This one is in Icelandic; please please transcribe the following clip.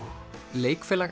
leikfélag